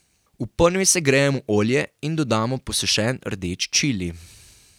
V ponvi segrejemo olje in dodamo posušen rdeč čili.